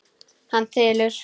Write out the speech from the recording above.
Hann þylur: